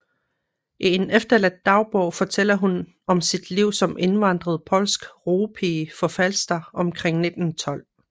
I en efterladt dagbog fortæller hun om sit liv som indvandret polsk roepige på Falster omkring 1912